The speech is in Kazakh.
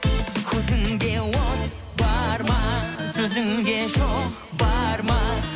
көзіңде от бар ма сөзіңде шоқ бар ма